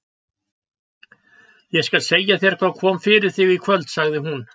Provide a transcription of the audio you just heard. Ég skal segja þér hvað kom fyrir þig í kvöld, sagði hún.